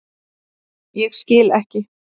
Ég skil ekki.